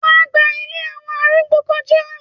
wà á gba “ ilé àwọn arúgbó ” kọjá?